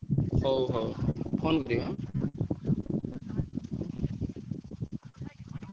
ହଉ ହଉ phone କରିବ ଏଁ।